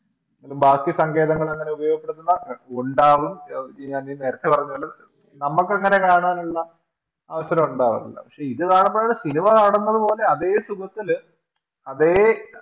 ബാക്കി സങ്കേതങ്ങളെങ്ങനെ ഉപയോഗപ്പെടുത്തുന്ന ഉണ്ടാവും ഞ നേരത്തെ പറഞ്ഞപോലെ നമ്മക്കങ്ങനെ കാണാനുള്ള അവസരം ഉണ്ടാവാറില്ല പക്ഷെ ഇതു കാണുമ്പോഴും സിനിമ കാണുന്നതുപോലെ അതെ സുഖത്തില് അതെ അതെ